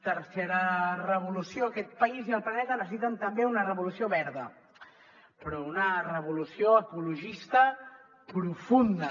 tercera revolució aquest país i el planeta necessiten també una revolució verda però una revolució ecologista profunda